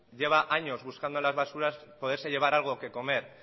lleva años buscando en las basuras poderse llevar algo que comer